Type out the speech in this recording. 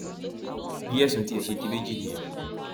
bí ẹsùn tiẹ ṣe di méjì nìyẹn